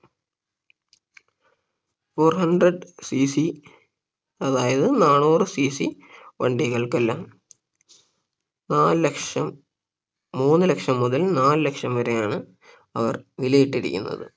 four hundred CC അതായത് നാനൂറ് CC വണ്ടികൾക്കെല്ലാം നാല് ലക്ഷം മൂന്ന് ലക്ഷം മുതൽ നാല് ലക്ഷം വരെയാണ് അവർ വില ഇട്ടിരിക്കുന്നത്